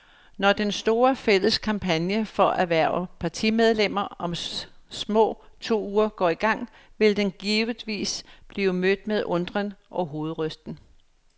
Når den store, fælles kampagne for at hverve partimedlemmer om små to uger går i gang, vil den givetvis blive mødt med undren og hovedrysten.